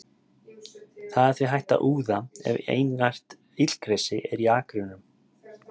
Það er því hægt að úða ef einært illgresi er í akrinum.